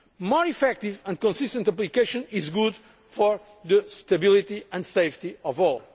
More effective and consistent application is good for the stability and safety of all.